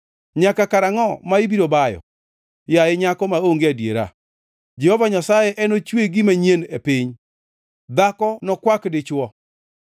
Nyaka karangʼo ma ibiro bayo, yaye nyako maonge adiera? Jehova Nyasaye enochwe gima nyien e piny, dhako nokwak dichwo.”